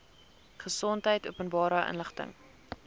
gesondheid openbare inligting